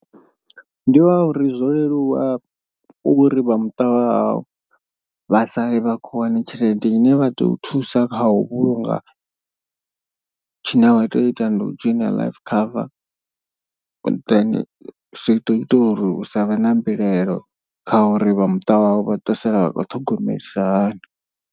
Ndi wa uri zwo leluwa uri vha muṱa wa hau vha sale vha khou wana tshelede ine vha tea u thusa kha u vhulunga. Tshine vha tea u ita ndi u dzhoina life cover then zwi ḓo ita uri hu savhe na mbilaelo kha uri vha muṱa wawe vha to sala vha khou ṱhogomelisa hani.